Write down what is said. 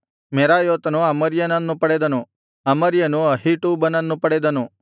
ಮೆರಾಯೋತನು ಅಮರ್ಯನನ್ನು ಪಡೆದನು ಅಮರ್ಯನು ಅಹೀಟೂಬನನ್ನು ಪಡೆದನು